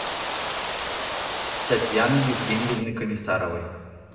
татьяны евгеньевны комиссаровой